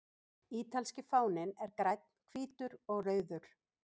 Ítalski fáninn er grænn, hvítur og rauður.